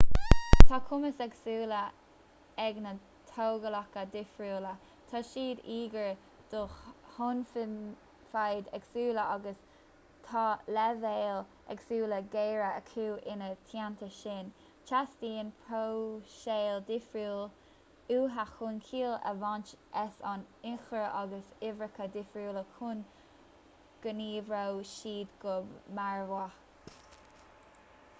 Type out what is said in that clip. tá cumais éagsúla ag na tógálacha difriúla tá siad íogair do thonnfhaid éagsúla agus tá leibhéil éagsúla géire acu ina theanta sin teastaíonn próiseáil dhifriúil uathu chun ciall a bhaint as an ionchur agus uimhreacha difriúla chun go n-oibreoidh siad go barrmhaith